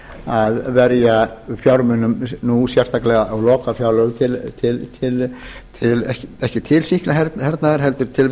að verja fjármunum nú sérstaklega á lokafjárlögum ekki til sýklahernaðar heldur til